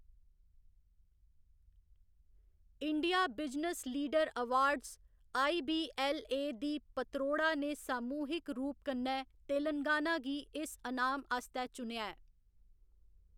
India business leader awards IBLA. दी पतरोड़ा ने सामूहिक रूप कन्नै तेलंगाना गी इस अनाम आस्तै चुनेआ ऐ।